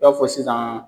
I b'a fɔ sisan